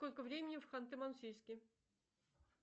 сколько времени в ханты мансийске